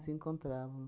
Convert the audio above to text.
Se encontrávamos.